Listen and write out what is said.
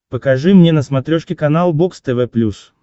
покажи мне на смотрешке канал бокс тв плюс